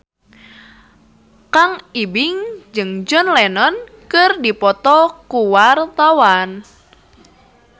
Kang Ibing jeung John Lennon keur dipoto ku wartawan